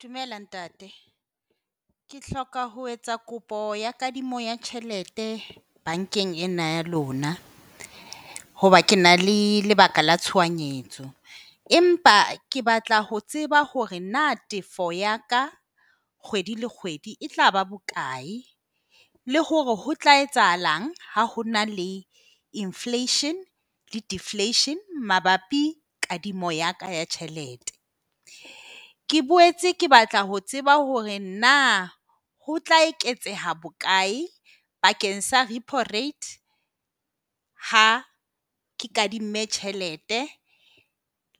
Dumela ntate. Ke hloka ho etsa kopo ya kadimo ya tjhelete bankeng ena ya lona. Hoba ke na le lebaka la tshohanyetso empa ke batla ho tseba hore na tefo ya ka kgwedi le kgwedi e tlaba bokae le hore ho tla etsahalang ha hona le inflation le deflection mabapi kadimo ya ka ya tjhelete. Ke boetse ke batla ho tseba hore na ho tla eketseha bokae bakeng sa repo rate ha ke kadimme tjhelete,